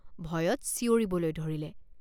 ভয়ত চিঞৰিবলৈ ধৰিলে।